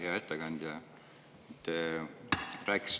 Hea ettekandja!